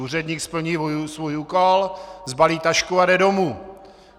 Úředník splní svůj úkol, sbalí tašku a jde domů.